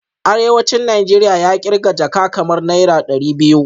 Arewacin Najeriya ya kirga jaka kamar naira dari biyu